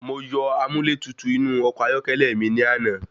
Mo yọ amúlẹ́tutù inú ọkọ̀ ayọ́kẹ́lẹ́ mi ní àná.